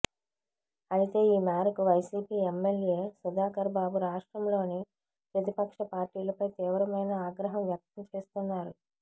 అయితే ఈమేరకు వైసీపీ ఎమ్మెల్యే సుధాకర్ బాబు రాష్ట్రంలోని ప్రతిపక్ష పార్టీలపై తీవ్రమైన ఆగ్రహం వ్యక్తం చేస్తున్నారు